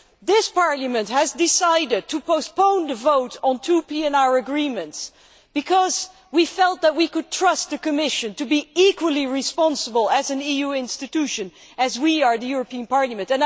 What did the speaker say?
This Parliament has decided to postpone the vote on two PNR agreements because we felt that we could trust the Commission to be equally responsible as an EU institution as we are at the European Parliament.